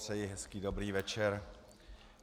Přeji hezký dobrý večer.